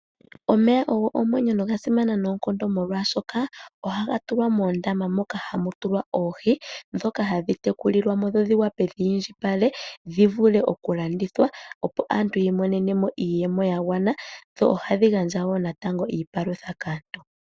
Omeya ogo omwenyo nogasimana noonkondo molwashoka, ohaga tulwa mOondaama moka ha mu tulwa oohi, dhoka hadhi tekulilwamo dho dhi vule oku indjipala dhi vule okulandithwa opo aantu yi imonene mo iiyemo yagwana dho ohadhi gandja wo natango iipalutha kaantu.